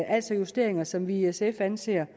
altså justeringer som vi i sf anser